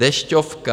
Dešťovka.